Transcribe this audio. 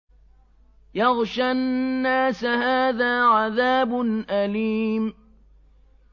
يَغْشَى النَّاسَ ۖ هَٰذَا عَذَابٌ أَلِيمٌ